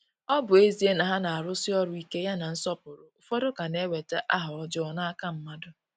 Ọ bụ ezie na ha na-arụsi ọrụ ike ya na nsọpụrụ, ụfọdụ ka na-enweta aha ọjọọ n’aka mmadụ.